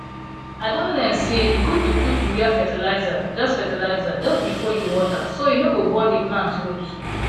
i don learn say e good to put urea fertilizer just fertilizer just before you water so e no go burn the plant root